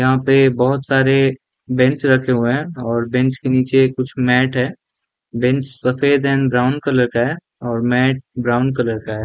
यहाँ पे बहोत सारे बेंच रखे हुए है और बेंच के निचे कुछ मॅट है बेंच सफ़ेद अण्ड ब्राउन कलर का है और मैट ब्राउन कलर का है।